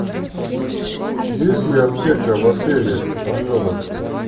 есть ли аптека в отеле орленок